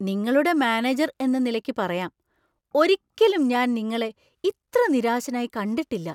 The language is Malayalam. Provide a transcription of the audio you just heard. നിങ്ങളുടെ മാനേജർ എന്ന നിലയ്ക്കു പറയാം, ഒരിക്കലും ഞാൻ നിങ്ങളെ ഇത്ര നിരാശനായി കണ്ടിട്ടില്ല.